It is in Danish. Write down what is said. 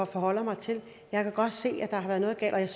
forholder mig til jeg kan godt se at der har været noget galt